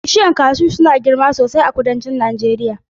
Bishiyun kashu suna girma sosai a kudancin Najeriya